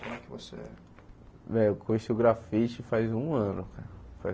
Como é que você... Véio, eu conheci o grafite faz um ano, cara.